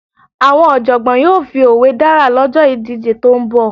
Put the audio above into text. Àwọn Ọ̀jọ̀gbọ́n yóò fi òwe dára lọ́jọ́ ìdíje tó ń bọ̀